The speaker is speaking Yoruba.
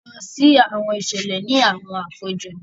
A lọ si awọn iṣẹlẹ ni awọn àpéjọ.